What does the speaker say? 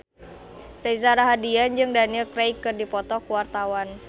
Reza Rahardian jeung Daniel Craig keur dipoto ku wartawan